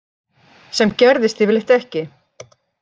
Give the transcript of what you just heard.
Sem gerðist yfirleitt ekki.